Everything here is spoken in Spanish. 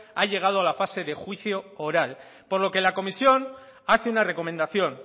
ha llegado a la fase de juicio oral por lo que la comisión hace una recomendación